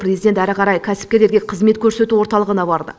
президент әрі қарай кәсіпкерлерге қызмет көрсету орталығына барды